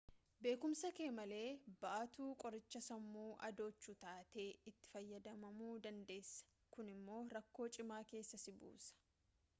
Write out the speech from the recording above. beekumsa kee malee baattuu qorichaa sammuu adoochuu taatee itti fayyadamamuu dandeessa kun immoo rakkoo cimaa keessa si buusa